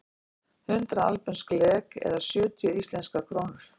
Hundrað albönsk lek eða sjötíu íslenskar krónur.